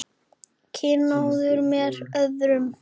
Kynóður með öðrum orðum.